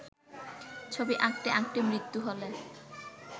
ছবি আঁকতে আঁকতে মৃত্যু হলে